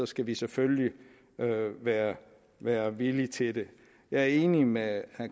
skal vi selvfølgelig være være villige til det jeg er enig med herre